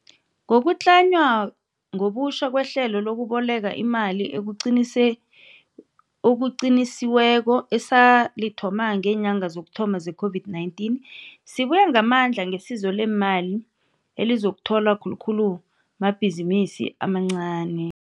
Ngokutlanywa ngobutjha kwehlelo lokubolekwa imali okuqinisi okuqinisiweko esalithoma ngeenyanga zokuthoma zeCOVID-19, sibuya ngamandla ngesizo leemali elizakutholwa khulukhulu mabhizinisi amancani.